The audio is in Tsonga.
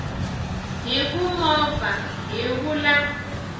hi ku movha hi vula